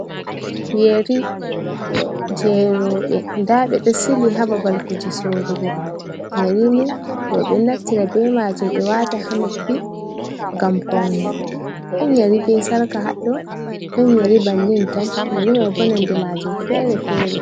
Yeri je roɓe, nda ɓe ɗo sili ha ɓabal kuje sorugo, yerini roɓe naftira be majum ɓe wata ha noppi ngam paune, ɗon yari be sarka hado, ɗon yari bannin tan yari mai bo nonde majum fere fere.